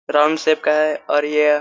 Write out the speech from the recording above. round shape